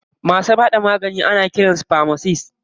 Masu haɗa magani ana kiran su famasist.